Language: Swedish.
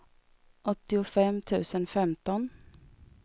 åttiofem tusen femton